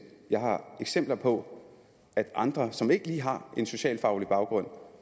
jeg har eksempler på at andre som ikke lige har en socialfaglig baggrund